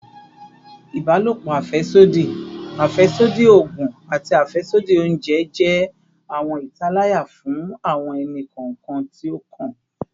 Ibalopo afẹsodi, afẹsodi oogun, ati afẹsodi ounjẹ jẹ awọn italaya fun awọn ẹni-kọọkan ti o kan